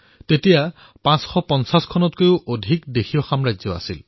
তেতিয়া ৫৫০ত কৈও অধিক দেশীয় ৰাজশাসন আছিল